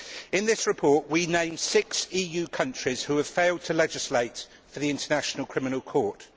In this report, we name six EU countries which have failed to legislate for the International Criminal Court.